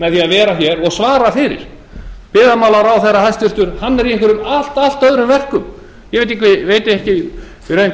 með því að vera hér og svara fyrir hæstvirtan byggðamálaráðherra er í einhverjum allt öðrum verkum ég veit ekki í raun hvað hann